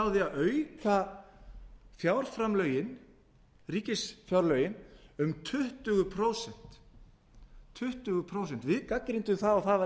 byrjaði hún á því að auka ríkisfjárlögin um tuttugu prósent við gagnrýndum það og það var